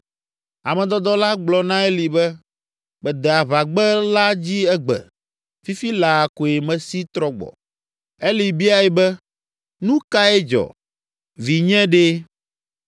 Ame dɔdɔ la gblɔ na Eli be, “Mede aʋagbe la dzi egbe, fifi laa koe mesi trɔ gbɔ.” Eli biae be, “Nu kae dzɔ, Vinye ɖe?”